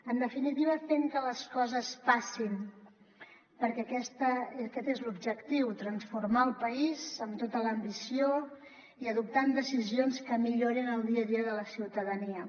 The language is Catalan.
en definitiva fent que les coses passin perquè aquest és l’objectiu transformar el país amb tota l’ambició i adoptar decisions que millorin el dia a dia de la ciutadania